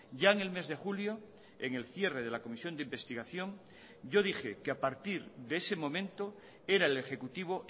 ya en el mes de julio en el cierre de la comisión de investigación yo dije que a partir de ese momento era el ejecutivo